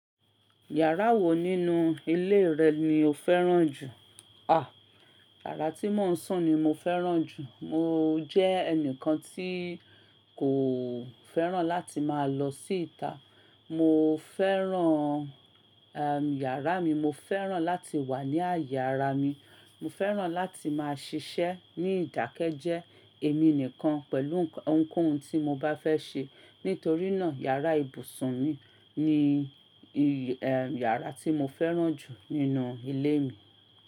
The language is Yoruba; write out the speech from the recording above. Yàrá wo nínú ilé rẹ ni o fẹ́ràn jù? À, yàrá tí mò ń sùn ni mo fẹ́ràn jù. Mo jẹ́ ẹnìkan tí kò fẹ́ràn láti máa lọ sí ìta. Mo fẹ́ràn, am, yàrá mi. Mo fẹ́ràn láti wà ní àyè ara mi. Mo fẹ́ràn láti máa ṣiṣẹ́ ní ìdákẹ́jẹ́ẹ́ èmi nìkan pẹ̀lú nk, ohunkóhun tí mo bá fẹ́ ṣe. Nítorí náà yàrá ibùsùn mi ni, ẹ́, yàrá tí mo fẹ́ràn jù nínú ilé mi.